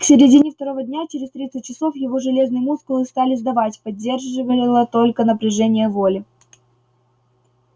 к середине второго дня через тридцать часов его железные мускулы стали сдавать поддерживало только напряжение воли